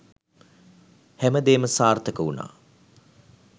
හැමදේම සාර්ථක වුණා.